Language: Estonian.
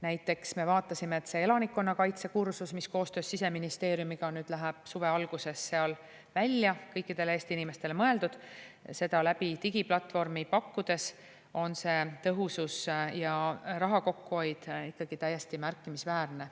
Näiteks, me vaatasime, et see elanikkonnakaitse kursus, mis koostöös Siseministeeriumiga läheb suve alguses seal välja ja on mõeldud kõikidele Eesti inimestele – läbi digiplatvormi pakkudes on see tõhus ja raha kokkuhoid ikkagi täiesti märkimisväärne.